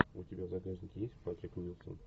у тебя в загашнике есть патрик уилсон